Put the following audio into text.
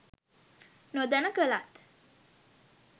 නොදැන කලත්